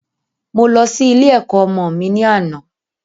Mo lọ sí ilé ẹ̀kọ́ ọmọ mi ní àná